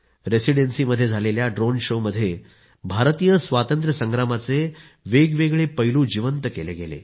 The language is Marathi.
रेसिडेन्सी मध्ये झालेल्या ड्रोन शो मध्ये भारतीय स्वातंत्र्य संग्रामाचे वेगवेगळे पैलू जिवंत केले गेले